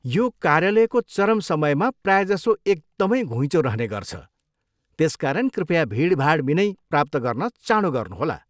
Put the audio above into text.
यो कार्यालयको चरम समयमा प्रायःजसो एकदमै घुइँचो रहने गर्छ, त्यसकारण कृपया भिडभाड बिनै प्राप्त गर्न चाँडो गर्नुहोला।